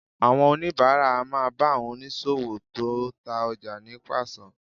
Àwọn oníbàárà á máa bá àwọn oníṣòwò tó ń ta ọjà ní pàṣán